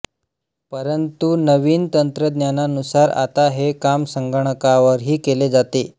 परंतु नवीन तंत्रज्ञानुसार आता हे काम संगणकावरही केले जाते